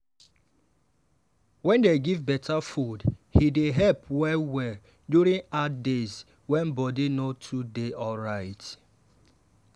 wen dem give better food e dey help well-well during hard days wey body no too dey alright.